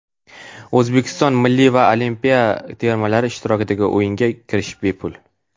O‘zbekiston milliy va olimpiya termalari ishtirokidagi o‘yinga kirish bepul.